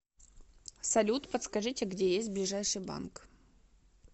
салют подскажите где есть ближайший банк